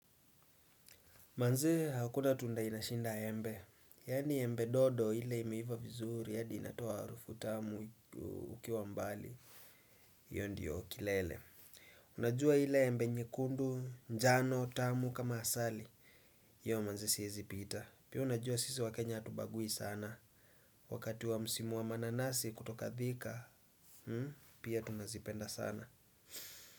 Manee hakuna tunda inashinda embe. Yaani embe dodo ile imeiva vizuri hadi inatoa harufu tamu ukiwa mbali. Hiyo ndo kilele. Unajua ile embe nyekundu, njano, tamu kama asali. Hiyo manze siezi pita. Pia unajua sisi waKenya hatubagui sana. Wakati wa msimu wa mananasi kutoka Thika, pia tunazipenda sana.